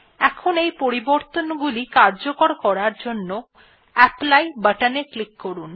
এখন এই পরিবর্তনগুলি কার্যকর করার জন্য অ্যাপলি বাটন এ ক্লিক করুন